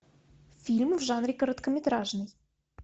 фильм в жанре короткометражный